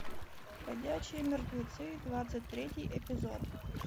ходячие мертвецы двадцать третий эпизод